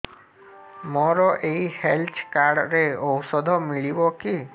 ମୋର ଏଇ health card ରେ ଔଷଧ ମିଳିବ କି